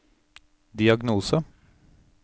diagnose